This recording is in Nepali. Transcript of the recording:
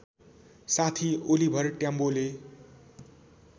साथी ओलिभर ट्याम्बोले